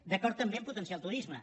d’acord també a potenciar el turisme